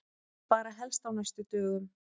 Bara helst á næstu dögum.